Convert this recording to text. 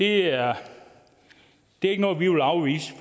er ikke noget vi vil afvise